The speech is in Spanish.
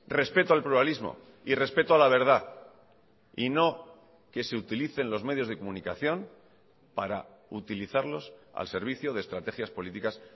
respeto al pluralismo y respeto a la verdad y no que se utilicen los medios de comunicación para utilizarlos al servicio de estrategias políticas